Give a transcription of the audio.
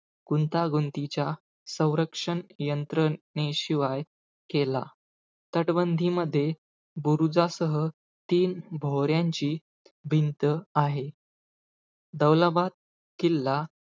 गुंतागुंतीच्या संरक्षण यंत्रणेशिवाय केला. तटबंदीमधे बुरुजासह तीन भोवऱ्यांची भिंत आहे. दौलाबाद किल्ला,